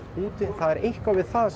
úti það er eitthvað við það